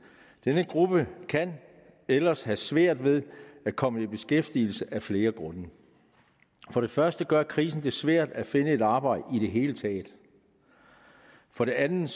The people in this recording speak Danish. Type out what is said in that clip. denne gruppe kan ellers have svært ved at komme i beskæftigelse af flere grunde for det første gør krisen det svært at finde et arbejde i det hele taget for det andet